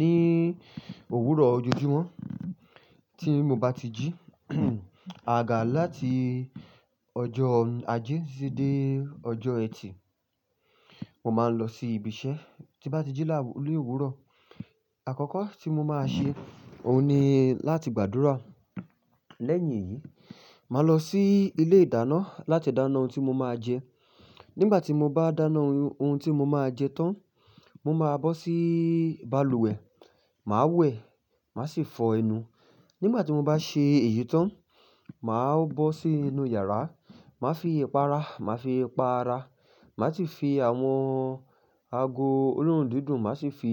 Ní òwúrọ̀ ojojúmọ́ tí mo bá ti jí àgaga láti ọjọ́ ajé titi dé ọjọ́ ẹtì, mo máa ń lọ sí ibi iṣẹ́. Tí bá ti jí òwúrọ̀, àkọ́kọ́ tí mo máa ṣe, òun ni láti gbàdúrà. Lẹ́yìn èyí, màá lọ sí ilé ìdáná láti dáná ohun tí mo máa jẹ. Nígbà tí mo bá dáná ohun tí mo máa jẹ tán, mo máa bọ́ sí balùwẹ̀, màá wẹ̀, màá sì fọ ẹnu. Nígbà tí mo bá ṣe èyí tán, màá bọ́ sí inú iyàrá, màá fi ìpará, màá fi pa ara. Màá sì fi àwọn ago olóòórùn dídùn, màá sì fi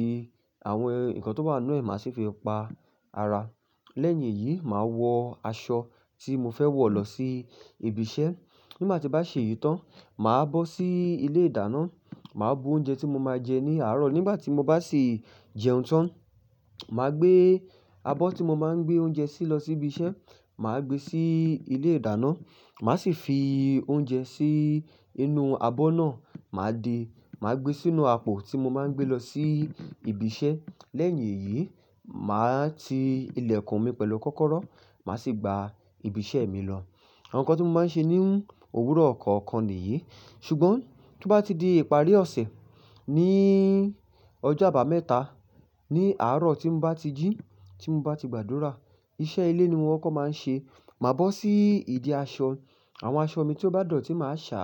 àwọn ǹkan tó bá inu ẹ̀, màá sì fi pa ara. Lẹ́yìn èyí, màá wọ aṣọ tí mo fẹ́ wọ̀ lọ sí ibi iṣẹ́. Nígbà tí bá ṣe yìí tán, màá bọ́ sí ilé ìdáná, màá bu oúnjẹ tí mo máa jẹ ní àárọ̀. Nígbà tí mo bá sì jẹun tán, màá gbé abọ́ tí mo máa ń gbé oúnjẹ sí lọ sí ibi iṣẹ́, màá gbé sí ilé ìdáná. Màá sì fi oúnjẹ sí inú abọ́ náà, màá de, màá gbé sínú apò tí mo máa ń gbé lọ sí ibi iṣẹ́. Lẹ́yìn èyí, màá ti ilẹ̀kùn mi pẹ̀lú kọ́kọ́rọ́, màá sì gba ibi iṣẹ́ mi lọ. Àwọn nǹkan tí mo máa ń ṣe ní òwúrọ̀ kọ̀ọ̀kan nìyí. Ṣùgbọ́n tí ó bá ti di ìparí ọ̀sẹ̀, ní ọjọ́ àbámẹ́ta ní àárọ̀ tí mo bá ti jí, tí mo bá ti gbàdúrà, iṣẹ́ ilé ni mo kọ́kọ́ máa ń ṣe. Màá bọ́ sí ìdí aṣọ, àwọn aṣọ mi tí ó bá dọ̀tí màá ṣá,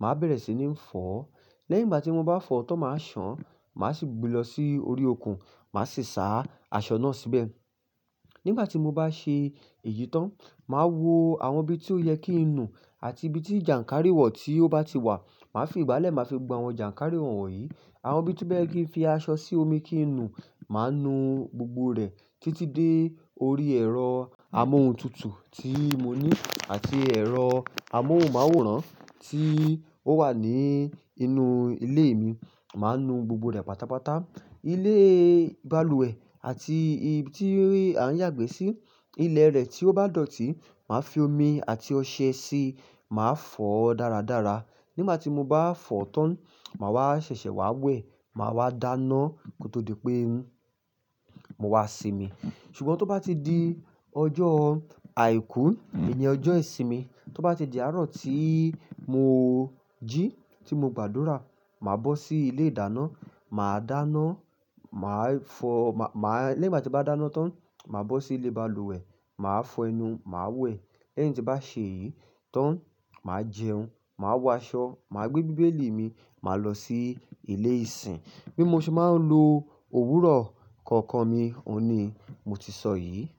màá bẹ̀rẹ̀ sí ní fọ̀. Lẹ́yìn tí mo bá fọ̀ tán, màá ṣàn, màá sì gbe lọ sí orí okùn, màá sì sá aṣọ náà síbẹ̀. Nígbà tí mo bá ṣe èyí tán, màá wo àwọn ibi tí ó yẹ kí ń nu àti ibi tí jànkárìwọ̀ tí ó bá ti wà, màá fi ìgbálẹ̀, màá fi gba àwọn jànkárìwọ̀ yìí. Àwọn ibi tí ó baye kí ń fi aṣọ sí omi kí ń nu, màá nu gbogbo rẹ̀ títí dé orí ẹ̀rọ amóhuntutù tí mo ní àti ẹ̀rọ amóhunmáwòrán tí ó wà ní inú ilé mi. Màá nu gbogbo rẹ̀ pátápátá. Ilé balùwẹ̀ àti ibi tí a ń yàgbẹ́ sí, ilẹ̀ rẹ̀ tí ó bá dọ̀tí, màá fi omi àti ọṣẹ síi, màá fọ̀ dáradára. Nígbà tí mo bá fọ̀ tán, màá wá ṣẹ̀ṣẹ̀ wá wẹ̀, màá wá dáná kó tó di pé n, mo wá sinmi. Ṣùgbọ́n tí ó bá ti di ọjọ́ àìkú, èni ọjọ́ ìsinmi, tí ó bá ti di àárọ̀ tí mo jí, tí mo gbàdúrà, màá bọ́ sí ilé ìdáná, màá dáná, màá fọ, màá, màá, lẹ́yìn tí mo bá dáná tán, màá bọ́ sí ilé balùwẹ̀, màá fọ ẹnu, màá wẹ̀. Lẹ́yìn tí bá ṣe eyìí tán, màá jẹun, màá wọ aṣọ, màá gbé bíbélì mi, màá lọ sí ilé ìsìn. Bí mo ṣe máa ń lo òwúrọ̀ kọ̀ọ̀kan mi, òun ni mo ti sọ yìí.